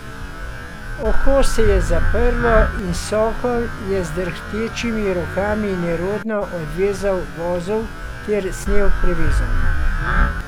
Oko se je zaprlo in Sokol je z drhtečimi rokami nerodno odvezal vozel ter snel prevezo.